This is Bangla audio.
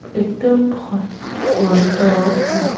একটা হস্কি আঃ একটা --